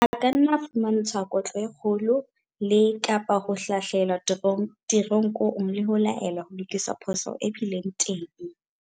A ka nna a fumantshwa kotlo e kgolo le, kapa ho hlahlelwa teronkong le ho laelwa ho lokisa phoso e bileng teng.